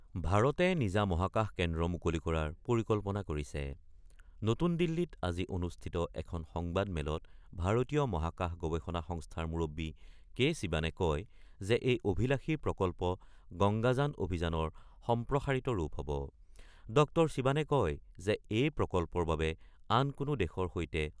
ভাৰতে নিজা মহাকাশ কেন্দ্ৰ মুকলি কৰাৰ পৰিকল্পনা কৰিছে৷ নতুন দিল্লীত আজি অনুষ্ঠিত এখন সংবাদ মেলত ভাৰতীয় মহাকাশ গৱেষণা সংস্থাৰ মুৰববী কে শিৱানে কয় যে এই অভিলাসী প্ৰকল্প, গংগাযান অভিযানৰ সম্প্ৰসাৰিত ৰূপ হব। ড শিৱানে কয় যে এই প্ৰকল্পৰ বাবে আন কোনো দেশৰ সৈতে